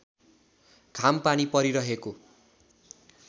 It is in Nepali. घाम पानी परिरहेको